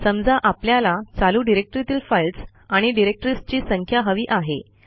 समजा आपल्याला चालू डिरेक्टरीतील फाईल्स आणि डिरेक्टरीजची संख्या हवी आहे